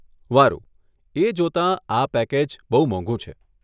વારુ, એ જોતાં, આ પેકેજ બહુ મોંઘુ છે.